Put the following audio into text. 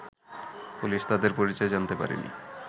police তাদের পরিচয় জানাতে পারেনি